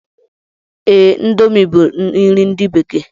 Ee, índomi bu nri ndi bekee